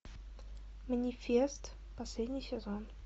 манифест последний сезон